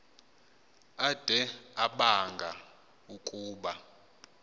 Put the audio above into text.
ade abanga ukuba